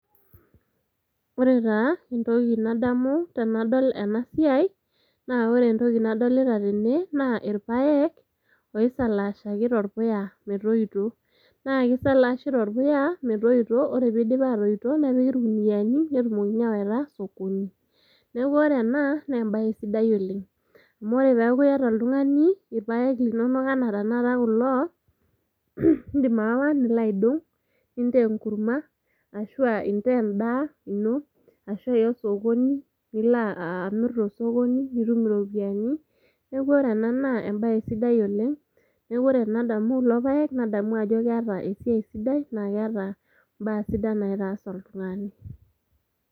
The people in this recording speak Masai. ore taa entoki nadamu tenadol ena siai naa ore entoki nadolita tene naa irpayek oisalaashaki torpuya metoito naa kisalaashi torpuya metoito ore piidip atoito nepiki irkuniani netumokini awaita sokoni neeku ore ena naa embaye sidai oleng amu ore peeku iyata oltung'ani irpayek linonok anaa tanakata kulo indim aawa nilo aidong nintaa enkurma ashua intaa endaa ino ashua iya osokoni nilo amirr tosokoni nitum iropiyiani neeku ore ena naa embaye sidai oleng neeku ore ena naa embaye sidai oleng neeku ore enadamu kulo payek nadamu ajo keeta esiai sidai naa keeta imbaa sidan naitaas oltung'ani.